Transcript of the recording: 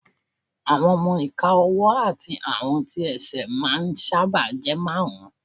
Àwọn ọmọ-ìka ọwọ́ àti àwọn tí ẹsẹ̀ máà ń sáábà jẹ́ márùn